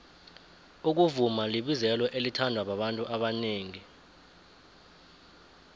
ukuvuma libizelo elithandwa babantu abanengi